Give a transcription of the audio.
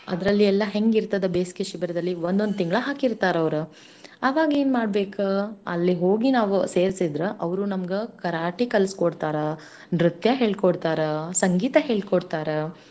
ಅದ್ರಲ್ ಎಲ್ಲಾ ಹೆಂಗ್ ಇರ್ತದ ಬೇಸ್ಗೆ ಶಿಬಿರದಲ್ಲಿ ಒಂದೊಂದ್ ತಿಂಗ್ಳ ಹಾಕಿರ್ತಾರ್ ಅವ್ರು. ಅವಾಗೇನ್ ಮಾಡ್ಬೇಕ? ಅಲ್ಲಿಗ್ ಹೋಗಿ ನಾವು ಸೇರ್ಸಿದ್ರ ಅವ್ರು ನಮ್ಗ ಕರಾಟೆ ಕಲ್ಸಕೊಡ್ತಾರ, ನೃತ್ಯ ಹೇಳ್ಕೊಡ್ತಾರ, ಸಂಗೀತ ಹೇಳ್ಕೊಡ್ತಾರ.